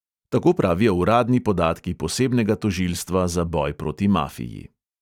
Tako pravijo uradni podatki posebnega tožilstva za boj proti mafiji.